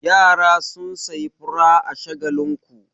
Yara sun sayi fura a Shagakinku.